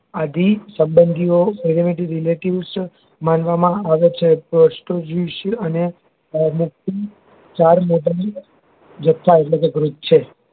આદિ સંબંધીઓ permeative relatives માનવા માં આવે છે પુષ્ટ જીવન અને જથ્થા એટલે કે growth છે